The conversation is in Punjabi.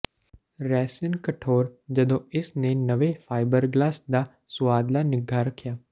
ਰੈਸਿਨ ਕਠੋਰ ਜਦੋਂ ਇਸ ਨੇ ਨਵੇਂ ਫਾਈਬਰਗਲਾਸ ਦਾ ਸੁਆਦਲਾ ਨਿੱਘਾ ਰੱਖਿਆ